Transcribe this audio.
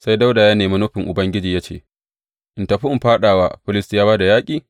Sai Dawuda ya nemi nufin Ubangiji, ya ce, In tafi in fāɗa wa Filistiyawa da yaƙi?